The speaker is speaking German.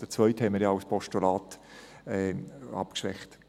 Den zweiten haben wir ja als Postulat abgeschwächt.